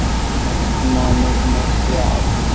næstu mánuði, næstu ár.